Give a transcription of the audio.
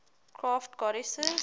crafts goddesses